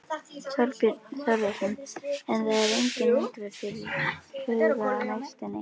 Þorbjörn Þórðarson: En það er engin útrás fyrirhuguð á næstunni?